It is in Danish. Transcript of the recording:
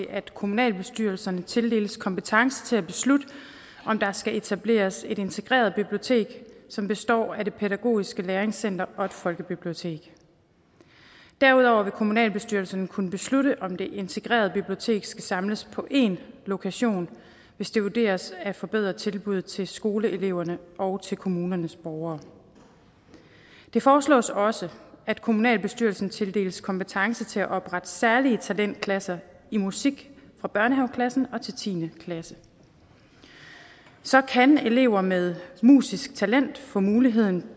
at kommunalbestyrelserne tildeles kompetence til at beslutte om der skal etableres et integreret bibliotek som består af det pædagogiske læringscenter og et folkebibliotek derudover vil kommunalbestyrelserne kunne beslutte om det integrerede bibliotek skal samles på én lokation hvis det vurderes at forbedre tilbuddet til skoleeleverne og til kommunernes borgere det foreslås også at kommunalbestyrelsen tildeles kompetence til at oprette særlige talentklasser i musik fra børnehaveklassen til tiende klasse så kan elever med musisk talent få muligheden